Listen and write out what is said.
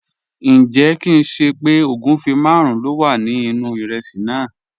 Njẹ̀, kìn ṣé pẹ́ ogunfẹ́ màrùn ló wà ní inu ìrèsí náà?